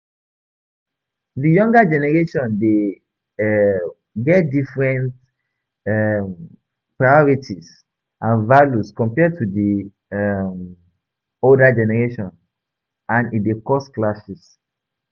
Di younger generation dey um get different um priorities and values compared to di um older generation, and e dey cause clashes.